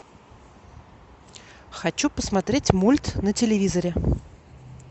хочу посмотреть мульт на телевизоре